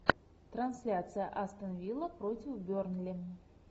трансляция астон вилла против бернли